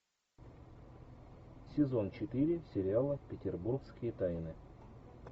сезон четыре сериала петербургские тайны